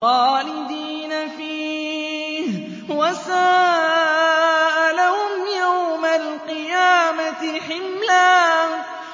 خَالِدِينَ فِيهِ ۖ وَسَاءَ لَهُمْ يَوْمَ الْقِيَامَةِ حِمْلًا